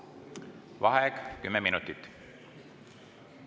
Vaheaeg 10 minutit.